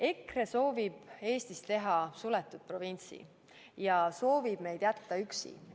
EKRE soovib Eestist teha suletud provintsi ja soovib meid jätta üksi.